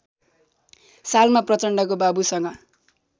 सालमा प्रचण्डको बाबुसँग